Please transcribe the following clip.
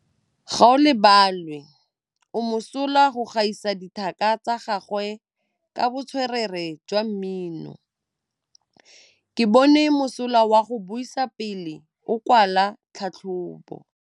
Gaolebalwe o mosola go gaisa dithaka tsa gagwe ka botswerere jwa mmino. Ke bone mosola wa go buisa pele o kwala tlhatlhobô.